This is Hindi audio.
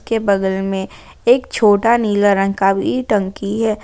के बगल मे एक छोटा नीला रंग का भी टंकी है।